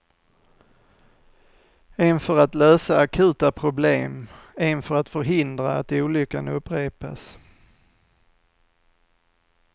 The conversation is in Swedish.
En för att lösa akuta problem, en för att förhindra att olyckan upprepas.